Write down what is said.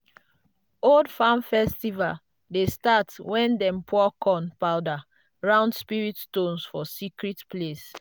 old farm festival dey start when dem pour corn powder round spirit stones for secret place.